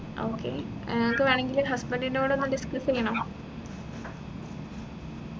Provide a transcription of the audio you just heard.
okay uh നിങ്ങക്ക് വേണെങ്കിൽ husband ന്റെ കൂടൊന്നു discuss ചെയ്യണൊ